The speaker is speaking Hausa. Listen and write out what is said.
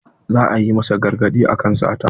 Za a yi masa gargaɗi akan sata.